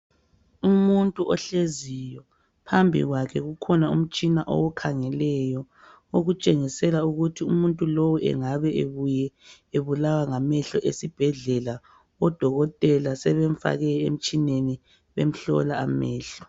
Umuntu ohleziyo , phambi kwakhe kukhona umtshina owukhangeleyo. Okutshengisela ukuthi umuntu lowu engabe ebuye ebulawa ngamehlo. Esibhedlela odokotela sebemfake emitshineni bemhlola amehlo.